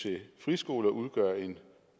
til friskoler udgør en